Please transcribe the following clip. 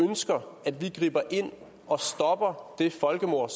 ønsker at vi griber ind og stopper det folkemord